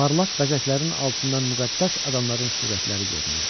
Parlaq bəzəklərin altından müqəddəs adamların surətləri görünürdü.